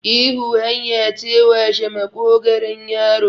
ihu hanya ce washe maƙogaron yaro